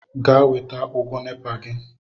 Gaa weta ụgwọ NEPA gị!